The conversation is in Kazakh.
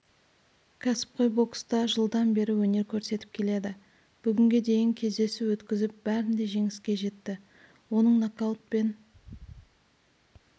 кәсіпқой бокста жылдан бері өнер көрсетіп келеді бүгінге дейін кездесу өткізіп бәрінде жеңіске жетті оның нокаутпен